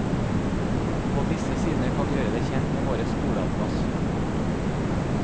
På disse sidene kan du gjøre deg kjent med våre skoleatlas. punktum